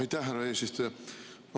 Aitäh, härra eesistuja!